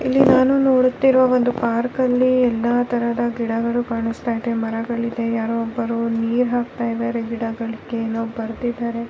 ಇಲ್ಲಿ ನಾನು ನೋಡುತ್ತಿರುವ ಒಂದು ಪಾರ್ಕ್ ಅಲ್ಲಿ ಎಲ್ಲ ತರದ ಗಿಡಗಳು ಕಾಣಿಸ್ತಾ ಇದೆ ಮರಗಳು ಇದೆ ಯಾರೋ ಒಬ್ಬರು ನೀರು ಹಾಕ್ತಿದ್ದಾರೆ ಗಿಡಗಳಿಗೆ ಏನೋ ಬರ್ದಿದ್ದರೆ-